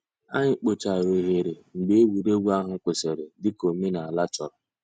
Ànyị̀ kpochàrā òghèrè mgbè ègwè́régwụ̀ àhụ̀ kwụsìrì, dị̀ka òmènàlà chọ̀rọ̀.